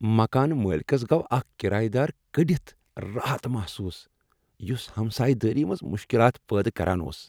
مکان مٲلکس گوٚو اکھ کرایہ دار کٔڑتھ راحت محسوٗس یس ہمسایہ دٲری منٛز مشکلات پٲدٕ کران اوس۔